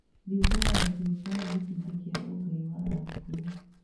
Thigũkũ ya Ituĩka nĩ gĩcunjĩ kĩa ũgai wa a Gĩkũyũ.